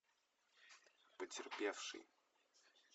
потерпевший